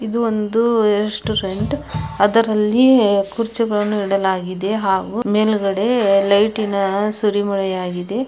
ಇದು ಒಂದು ರೆಸ್ಟುರೆಂಟ್ ಅದರಲ್ಲಿಯೇ ಕುರ್ಚಿಗಳನ್ನು ಇಡಲಾಗಿದೆ ಹಾಗು ಮೇಲ್ಗಡೆ ಲೈಟಿ ನ ಸುರಿಮಳೆ ಆಗಿದೆ.